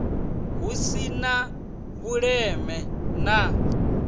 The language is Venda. hu si na vhuleme na